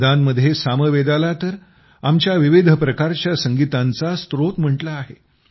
वेदांमध्ये सामवेदाला तर आमच्या विविध प्रकारच्या संगीतांचा स्त्रोत म्हणून म्हटलं आहे